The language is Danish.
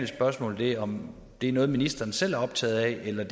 spørgsmål om det er noget ministeren selv er optaget af eller